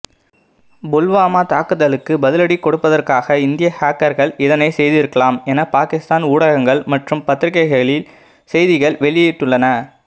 புல்வாமா தாக்குதலுக்கு பதிலடி கொடுப்பதற்காக இந்திய ஹேக்கர்கள் இதனை செய்திருக்கலாம் என பாகிஸ்தான் ஊடகங்கள் மற்றும் பத்திரிக்கைகளில் செய்திகள் வெளியிட்டுள்ளன